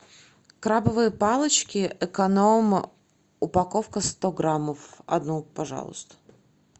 крабовые палочки эконом упаковка сто граммов одну пожалуйста